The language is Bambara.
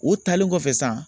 O taalen kɔfɛ sa